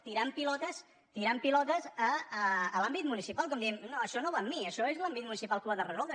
tirant pilotes tirant pilotes a l’àmbit municipal com dient no això no va amb mi això és l’àmbit municipal qui ho ha de resoldre